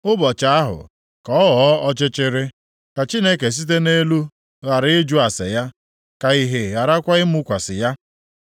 Ụbọchị ahụ, ka ọ ghọọ ọchịchịrị: ka Chineke site nʼelu ghara ịjụ ase ya; ka ìhè gharakwa ịmụkwasị ya.